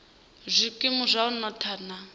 zwikimu zwa u notha na